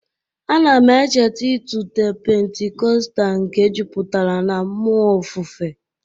A na m echeta ịtụte Pentikọstal nke jupụtara na mmụọ ofufe.